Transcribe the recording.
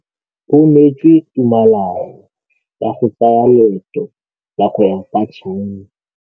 O neetswe tumalanô ya go tsaya loetô la go ya kwa China.